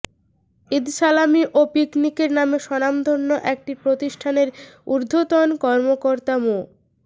ঈদসালামি ও পিকনিকের নামে স্বনামধন্য একটি প্রতিষ্ঠানের ঊর্ধ্বতন কর্মকর্তা মো